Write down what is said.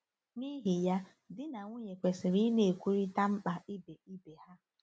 N’ihi ya, di na nwunye kwesịrị ịna-ekwurịta mkpa ibe ibe ha.